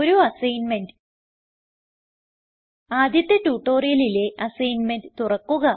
ഒരു അസൈൻമെന്റ് ആദ്യത്തെ ട്യൂട്ടോറിയലിലെ അസൈൻമെന്റ് തുറക്കുക